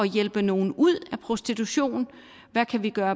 hjælpe nogle ud af prostitution hvad kan vi gøre